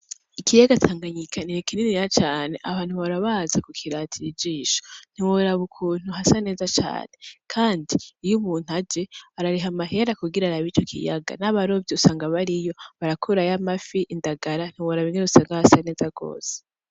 Ikiyaga tanganyika ni kininiya cane abantu bahora baza kukiratir'ijisho ntiworaba ukuntu hasa neza cane kand iy'umuntu aje arariha amahera kugira arab'ico kiyaga, n'abarovy'usanga bariyo barakuramwo n'amafi, indagara ntiworab'ingen'uasnga hasa neza gose.